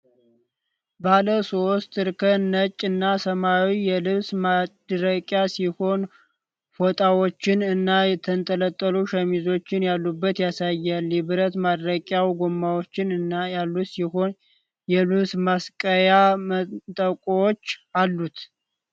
ባለሶስት እርከን ነጭ እና ሰማያዊ የልብስ ማድረቂያ ሲሆን፣ ፎጣዎች እና የተንጠለጠሉ ሸሚዞች ያሉበት ያሳያል። የብረት ማድረቂያው ጎማዎች ያሉት ሲሆን የልብስ መስቀያ መንጠቆችም አሉት?